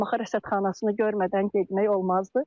Şamaxı Rəsədxanasını görmədən getmək olmazdı.